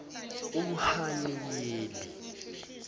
uhaniyeli